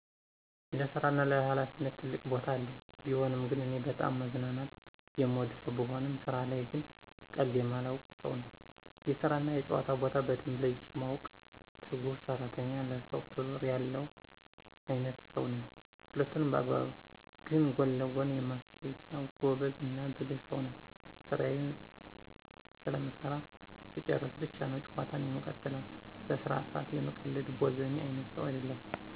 ለስራ እና ለሀላፊነት ትልቅ ቦታ አለኝ። ቢሆንም ግን እኔ በጣም መዝናናት የምወድ ሰው ብሆንም ስራ ላይ ግን ቀልድ የማልወድ ሰው ነኝ። የስራ እና የጨዋታ ቦታ በደንብ ለይቼ ማውቅ፤ ትጉህ ሰራተኝ፤ ለስራው ክብር ያለው አይነትሰው ነኝ። ሁለቱንም በአግባብ ግን ለጎን የማስኬድ ጎበዝ እና ብልህ ሰው ነኝ። ስራየን ፅፌ ስለምሰራ ስጨርስ ብቻ ነው ጨዋታን የምቀጥለው። በስራ ሰአት የምቀልድ ቦዘኔ አይነት ሰው አይደለሁም።